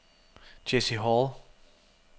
Jessie Hall